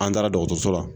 An taara dɔgɔtɔrɔso la